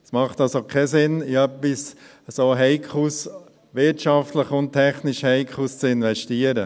Es macht also keinen Sinn, in etwas wirtschaftlich und technisch so Heikles zu investieren.